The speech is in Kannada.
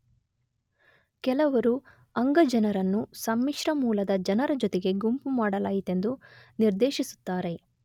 ಕೆಲವರು ಅಂಗ ಜನರನ್ನು ಸಮ್ಮಿಶ್ರ ಮೂಲದ ಜನರ ಜೊತೆಗೆ ಗುಂಪು ಮಾಡಲಾಯಿತೆಂದು ನಿರ್ದೇಶಿಸುತ್ತಾರೆ